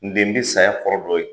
N den , n bi saya kɔrɔ dɔn